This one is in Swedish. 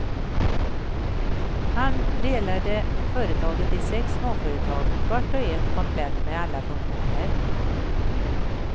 Han delade företaget i sex småföretag, vart och ett komplett med alla funktioner.